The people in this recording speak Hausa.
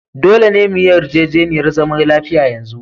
Dolle me yi yarjejeniyar zaman lafiya yanzu!